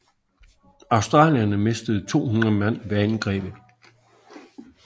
Australierne mistede 200 mand ved angrebet